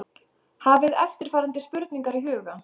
Hafið eftirfarandi spurningar í huga